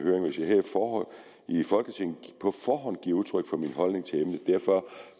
i folketinget på forhånd giver udtryk for min holdning til emnet derfor